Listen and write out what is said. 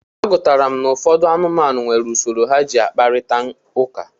A gụtara m na ụfọdụ anụmanụ nwere usoro ha ji akprịta ụka.